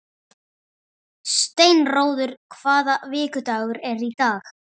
Steinröður, hvaða vikudagur er í dag?